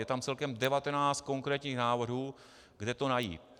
Je tam celkem 19 konkrétních návrhů, kde to najít.